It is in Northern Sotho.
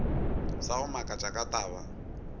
sa go makatša ka taba